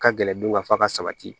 Ka gɛlɛn du ka fa ka sabati